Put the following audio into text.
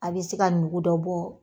A be se ka ɲugu dɔ bɔ